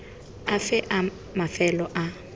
afe a mafelo a a